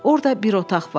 Orda bir otaq var.